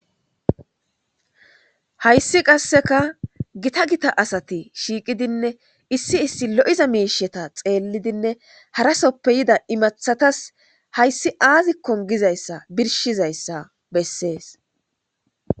Hayssi qasseka gita gita asati shiiqidinne issi issi lo7iza miisheta xeellidinne harasoppe yida imathatas hayssi aazikkon gizayssa birshizayssa bessees.